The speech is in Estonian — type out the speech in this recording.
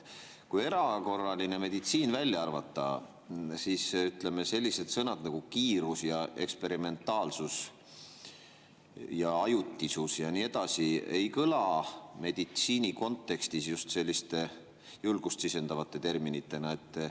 Kui erakorraline meditsiin välja arvata, siis, ütleme, sellised sõnad nagu "kiirus" ja "eksperimentaalsus" ja "ajutisus" ja nii edasi ei kõla meditsiini kontekstis just julgust sisendavate sõnadena.